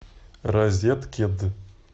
розеткед